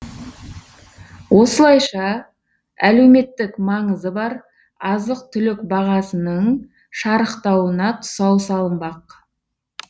осылайша әлеуметтік маңызы бар азық түлік бағасының шарықтауына тұсау салынбақ